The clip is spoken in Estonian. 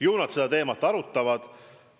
Ju nad seda teemat arutavad.